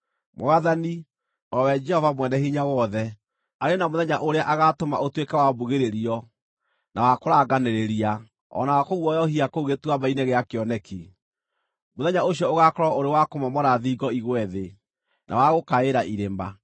Mwathani, o we Jehova Mwene-Hinya-Wothe, arĩ na mũthenya ũrĩa agaatũma ũtuĩke wa mbugĩrĩrio, na wa kũranganĩrĩria, o na wa kũguoyohia kũu Gĩtuamba-inĩ gĩa Kĩoneki. Mũthenya ũcio ũgaakorwo ũrĩ wa kũmomora thingo igwe thĩ, na wa gũkaĩra irĩma.